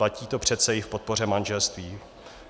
Platí to přece i v podpoře manželství.